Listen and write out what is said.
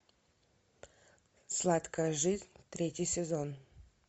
сладкая жизнь третий сезон